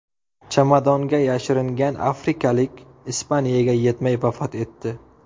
Chamadonga yashiringan afrikalik Ispaniyaga yetmay vafot etdi.